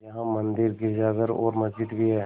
यहाँ मंदिर गिरजाघर और मस्जिद भी हैं